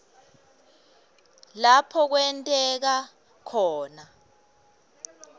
lapho kwenteka khona